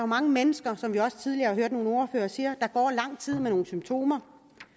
mange mennesker som vi også tidligere har hørt nogle ordførere sige der går lang tid med nogle symptomer